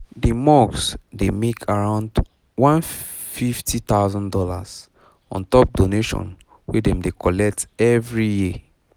the mosque dey make aroundone hundred and fifty thousand dollars on top donation wey dem dey collect every year